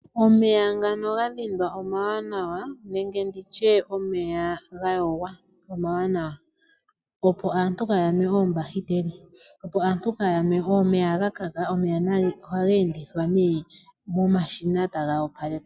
Omeya ngano ga dhindwa omawanawa nenge nditye omeya ga yogwa omawanawa, opo aantu kaa ya nwe oombahiteli. Opo aantu kaa ya nwe omeya ga kaka omeya ohaga endithwa nee momashina e taga opalekwa.